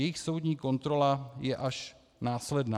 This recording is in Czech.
Jejich soudní kontrola je až následná.